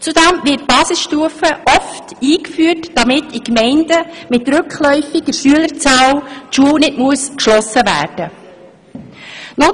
Zudem wird die Basisstufe oft eingeführt, damit in Gemeinden mit rückläufiger Schülerzahl die Schule nicht geschlossen werden muss.